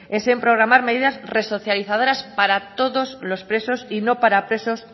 es en programar medidas resocializadoras para todos los presos y no para presos